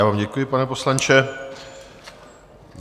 Já vám děkuji, pane poslanče.